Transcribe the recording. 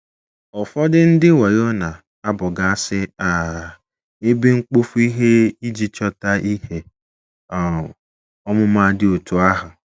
Ụfọdụ ndị wayo na - abọgasị um ebe mkpofu ihe iji chọta ihe um ọmụma dị otú ahụ.